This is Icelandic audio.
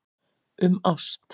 Um ást.